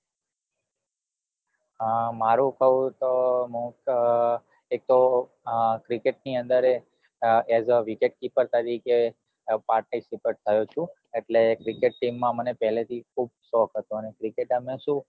મારું કવું તો મુ તો એક તો cricket ની અંદર એ as a wicket keeper તરીકે participate થયો છુ એટલે cricket team માં મને પેલે થી ખુબ શોક હતો ને cricket એમાં શું